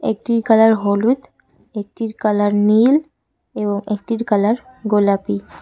একটির কালার হলুদ একটির কালার নীল এবং একটির কালার গোলাপী।